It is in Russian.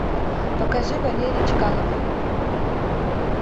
покажи валерий чкалов